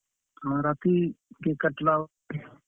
ହଁ, ରାତି cake କାଟଲା ବେଲେ।